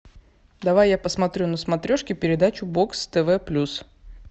давай я посмотрю на смотрешке передачу бокс тв плюс